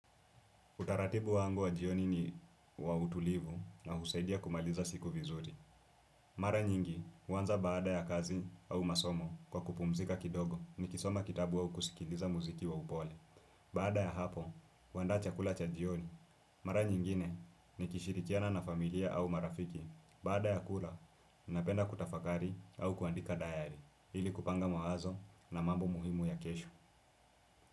Utaratibu wangu wa jioni ni wa utulivu, na husaidia kumaliza siku vizuri. Mara nyingi, huanza baada ya kazi, au masomo kwa kupumzika kidogo. Ni kisoma kitabu au kusikiliza muziki wa upole. Baada ya hapo, huandaa chakula cha jioni. Mara nyingine, nikishirikiana na familia au marafiki, baada ya kula, ninapenda kutafakari, au kuandika dayari. Ili kupanga mawazo, na mambo muhimu ya kesho.